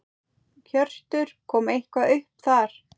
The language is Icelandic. Hjörtur: Kom eitthvað upp þar?